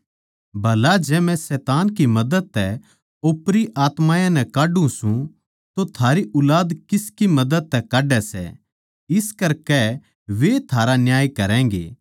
भला जै मै शैतान की मदद तै ओपरी आत्मायाँ नै काढ्ढू सूं तो थारी ऊलाद किसकी मदद तै काड्डै सै इस करकै वैए थारा न्याय करैगें